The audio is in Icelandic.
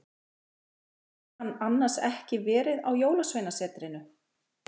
Eða hafði hann annars ekki verið á Jólasveinasetrinu?